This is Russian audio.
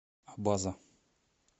абаза